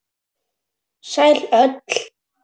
Sæl öll.